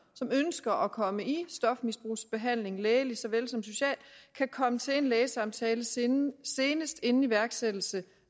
som ønsker at komme i stofmisbrugsbehandling lægeligt såvel som socialt kan komme til en lægesamtale senest senest inden iværksættelse